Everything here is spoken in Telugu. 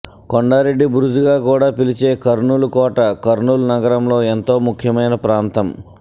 కొండారెడ్డి బురుజుగా కూడా పిలిచే కర్నూల్ కోట కర్నూల్ నగరంలోఎంతో ముఖ్యమైన ప్రాంతం